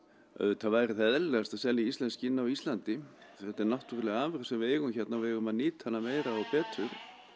auðvitað væri það eðlilegast að selja íslensk skinn á Íslandi þetta er náttúruleg afurð sem við eigum hérna og við eigum að nýta hana meira og betur